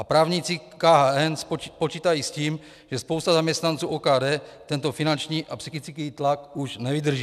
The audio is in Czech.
A právníci KHN počítají s tím, že spousta zaměstnanců OKD tento finanční a psychický tlak už nevydrží.